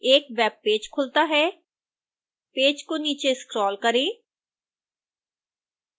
एक वेबपेज खुलता है